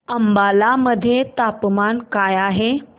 अंबाला मध्ये तापमान काय आहे